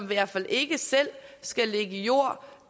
hvert fald ikke selv skal lægge jord